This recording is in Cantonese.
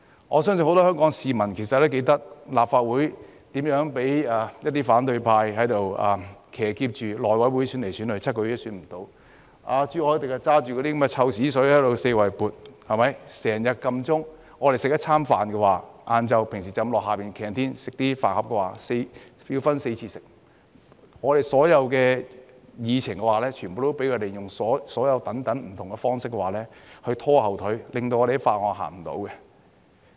我相信很多香港市民也記得，立法會如何被反對派騎劫，內務委員會用了7個月時間無法選出主席，朱凱廸四處潑臭水，經常要求點算法定人數，我們到樓下的飯堂吃一頓午飯，也要分4次吃，我們所有議程也被他們用不同的方式拖後腿，令法案無法討論。